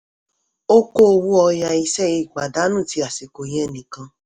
ó kó owó ọya iṣẹ́ ipàdánù ti àsìkò yẹn nìkan.